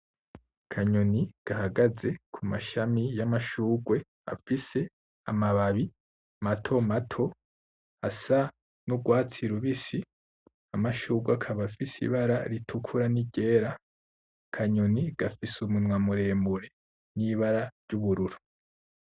Kanyoni gahagaze ku mashami y'amashurwe afise amababi matomato asa n'ugwatsi rubisi, amashurwe akaba afise ibara ritukura n'iryera, kanyoni gafise umunwa muremure n'ibara ryubururu.